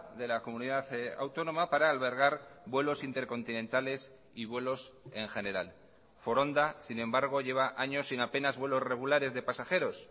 de la comunidad autónoma para albergar vuelos intercontinentales y vuelos en general foronda sin embargo lleva años sin apenas vuelos regulares de pasajeros